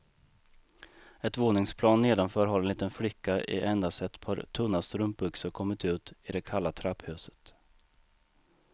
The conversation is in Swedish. Ett våningsplan nedanför har en liten flicka i endast ett par tunna strumpbyxor kommit ut i det kalla trapphuset.